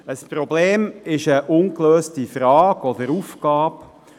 Ein Problem ist eine ungelöste Frage oder Aufgabe.